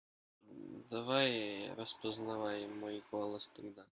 давай распознай мой голос тогда